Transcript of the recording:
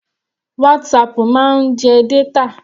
WhatsApp máa ń jẹ data.